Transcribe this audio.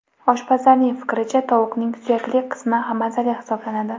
Oshpazlarning fikricha, tovuqning suyakli qismi mazali hisoblanadi.